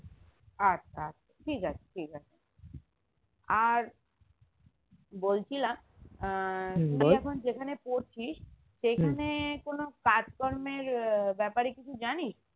আচ্ছা আচ্ছা ঠিকাছে ঠিক আছে আর বলছিলাম আহ তুই এখন যেখানে পড়ছিস সেখানে কোনো কাজ কর্মের আহ ব্যাপারে কিছু জানি?